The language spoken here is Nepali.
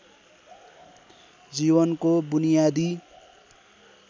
जीवनको बुनियादी